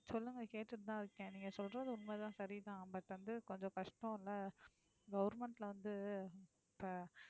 சொல்லுங்க கேட்டுட்டுதான் இருக்கேன் நீங்க சொல்றது உண்மைதான் சரிதான். but வந்து, கொஞ்சம் கஷ்டம் இல்ல government ல வந்து இப்ப